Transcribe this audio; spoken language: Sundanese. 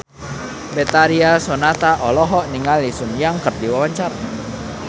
Betharia Sonata olohok ningali Sun Yang keur diwawancara